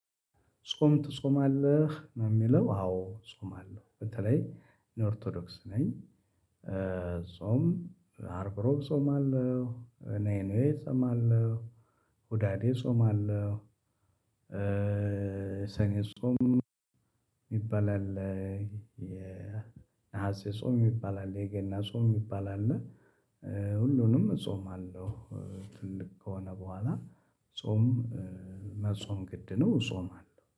ጾም ትጾማለህ ነው የሚለው አዎ ጾማለው በተለይ እኔ ኦርቶዶክስ ነኝ። ጾም አርብ ረቡህ ጾማለሁ ሰኔ ጾማለሁ ሁዳዴ ጾማለሁ። ሰኔ ጾም የሚባል አለ። የነሐሴ ጾም የሚባል አለ የገና ጾም የሚባል አለ። ሁሉንም ጾምአለው። ትልቅ ከሆነ በኋላ ጾም መጾም ግድ ነው። እጾማለሁ